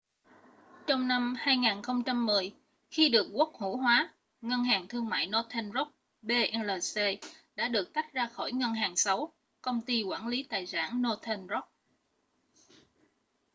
trong năm 2010 khi được quốc hữu hóa ngân hàng thương mại northern rock plc đã được tách ra khỏi ‘ngân hàng xấu’ công ty quản lý tài sản northern rock